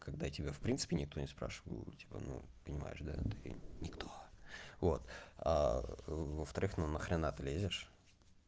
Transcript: когда я тебя в принципе никто не спрашивал типа ну понимаешь да ты никто вот во-вторых ну на хрена ты лезешь